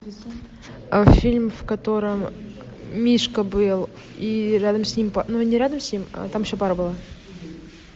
фильм в котором мишка был и рядом с ним ну не рядом с ним там еще пара была